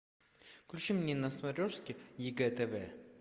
включи мне на смотрешке егэ тв